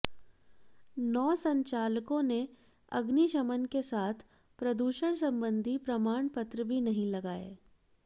नौ संचालकों ने अग्निशमन के साथ प्रदूषण संबंधी प्रमाणपत्र भी नहीं लगाए